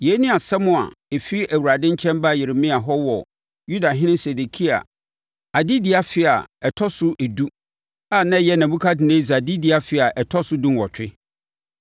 Yei ne asɛm a ɛfiri Awurade nkyɛn baa Yeremia hɔ wɔ Yudahene Sedekia adedie afe a ɛtɔ so edu a na ɛyɛ Nebukadnessar adedie afe a ɛtɔ so dunwɔtwe.